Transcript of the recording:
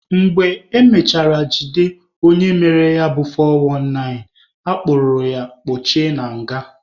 Mgbe emechara jide onye mere ya bụ 419, a kpụrụ ya kpochie na nga.